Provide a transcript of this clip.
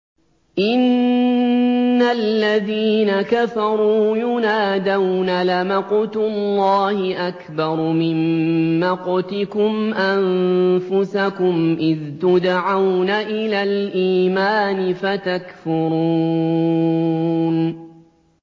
إِنَّ الَّذِينَ كَفَرُوا يُنَادَوْنَ لَمَقْتُ اللَّهِ أَكْبَرُ مِن مَّقْتِكُمْ أَنفُسَكُمْ إِذْ تُدْعَوْنَ إِلَى الْإِيمَانِ فَتَكْفُرُونَ